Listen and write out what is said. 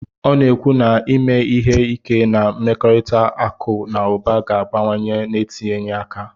ọ na-ekwu na ime ihe ike na mmekọrịta akụ na ụba ga-abawanye n'etinyeghị aka.